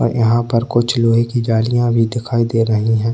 और यहाँ पर कुछ लोहे की जालियाँ भी दिखाई दे रही हैं।